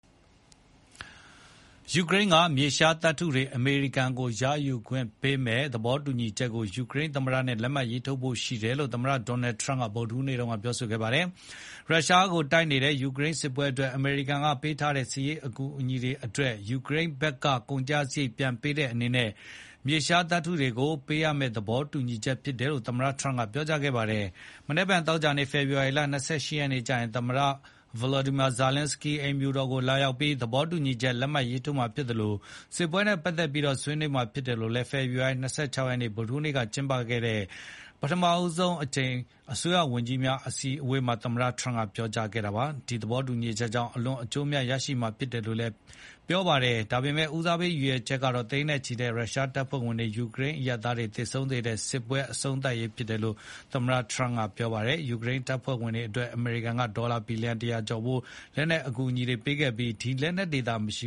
ယူကရိန်းက မြေရှားသတ္တုတွေ အမေရိကန်ကို ရယူခွင့်ပေးမယ့် သဘောတူညီချက်ကို ယူကရိန်းသမ္မတနဲ့ လက်မှတ်ထိုးဖို့ရှိတယ်လို့ သမ္မတ Donald Trump က ဗုဒ္ဓဟူးနေ့က ပြောကြားခဲ့ပါတယ်။ ရုရှားကိုတိုက်နေတဲ့ ယူကရိန်းစစ်ပွဲအတွက် အမေရိကန်ကပေးထားတဲ့ စစ်ရေးအကူအညီတွေအတွက် ယူကရိန်းဘက်က ကုန်ကျစရိတ်ပြန်ပေးတဲ့အနေနဲ့ မြေရှားတွေကို ပေးမယ့် သဘောတူညီချက်ဖြစ်တယ်လို့ သမ္မတ Trump ကပြောကြားခဲ့ပါတယ်။ မနက်ဖြန် သောကြာနေ့ ဖေဖေါ်ဝါရီ ၂၈ ရက်နေ့ကျရင် သမ္မတ Volodymyr Zelenskyy အိမ်ဖြူတော်ကိုလာရောက်ပြီး သဘောတူညီချက် လက်မှတ်ရေးထိုးမှာဖြစ်သလို စစ်ပွဲနဲ့ပတ်သတ်ပြီးတော့လည်း ဆွေးနွေးမှာဖြစ်တယ်လို့ ဖေဖေါ်ဝါရီ ၂၆ ရက်နေ့ ဗုဒ္ဓဟူးနေ့က ကျင်းပတဲ့ ပထမဆုံးအကြိမ်အစိုးရဝန်ကြီးများအစည်းအဝေးအတွင်း သမ္မတ Donald Trump က ပြောကြားခဲ့တာပါ။ ဒီသဘောတူညီချက်ကြောင့် အလွန် အကျိုးအမြတ် ရရှိမှာဖြစ်တယ်လို့လည်း ပြောပါတယ်။ ဒါပေမယ့် ဦးစားပေး ရည်ရွယ်ချက်ကတော့ သိန်းနဲ့ ချီတဲ့ရုရှားတပ်ဖွဲ့ဝင်တွေ၊ ယူကရိန်း အရပ်သားတွေ သေဆုံးစေတဲ့ စစ်ပွဲ အဆုံးသတ်နိုင်ရေးဖြစ်တယ်လို့ သမ္မတ Trump ကပြောပါတယ်။ ဒုတိယအချက်ကတော့ ပေးထားတာတွေ ပြန်ရဖို့လို့လည်း ပြောပါတယ်။ ယူကရိန်းတပ်ဖွဲ့ဝင်တွေအတွက် အမေရိကန်က ဒေါ်လာ ဘီလျံ ၁၀၀ ကျော်ဖိုး လက်နက်အကူအညီတွေပေးခဲ့ပြီး ဒီလက်နက်တွေသာ မရှ